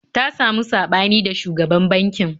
Ta samu saɓani da shugaban bankin